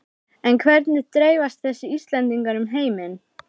En hvernig dreifast þessi Íslendingar um heiminn?